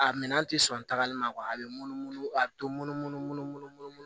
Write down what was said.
A minɛn tɛ sɔn tagali ma a bɛ munumunu a bɛ to munumunu